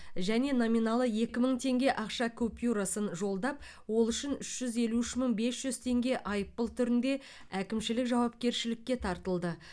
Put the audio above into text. және номиналы екі мың теңге ақша купюрасын жолдап ол үшін үш жүз елу үш мың бес жүз теңге айыппұл түрінде әкімшілік жауапкершілікке тартылды